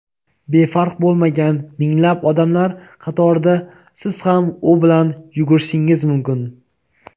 Befarq bo‘lmagan minglab odamlar qatorida siz ham u bilan yugurishingiz mumkin.